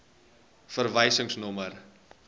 verwysingsnommer